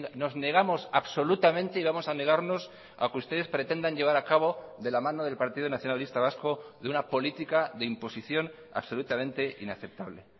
nos negamos absolutamente y vamos a negarnos a que ustedes pretendan llevar acabo de la mano del partido nacionalista vasco de una política de imposición absolutamente inaceptable